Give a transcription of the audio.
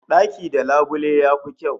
Daki da labule yafi kyau